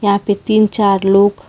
यहां पे तीन चार लोग--